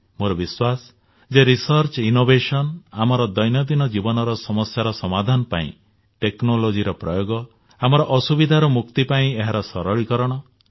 ମୋର ବିଶ୍ୱାସ ଯେ ରିସର୍ଚ୍ଚ ଓ ଇନୋଭେସନ ଆମର ଦୈନନ୍ଦିନ ଜୀବନରେ ସମସ୍ୟାର ସମାଧାନ ପାଇଁ ଟେକ୍ନୋଲୋଜିର ପ୍ରୟୋଗ ଆମର ଅସୁବିଧାରୁ ମୁକ୍ତି ପାଇଁ ଓ ଏହାର ସରଳୀକରଣ ଆବଶ୍ୟକ